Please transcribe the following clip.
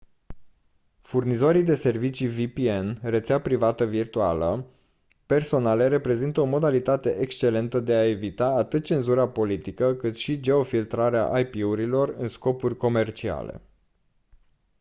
furnizorii de servicii vpn rețea privată virtuală personale reprezintă o modalitate excelentă de a evita atât cenzura politică cât și geofiltrarea ip-urilor în scopuri comerciale